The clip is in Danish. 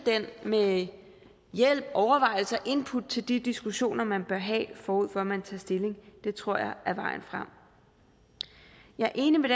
med hjælp overvejelser input til de diskussioner man bør have forud for at man tager stilling det tror jeg er vejen frem jeg er enig med